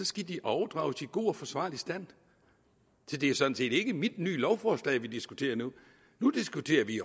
skal de overdrages i god og forsvarlig stand så det er sådan set ikke mit nye lovforslag vi diskuterer nu nu diskuterer vi